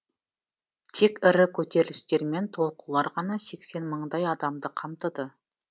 тек ірі көтерілістер мен толқулар ғана сексен мыңдай адамды қамтыды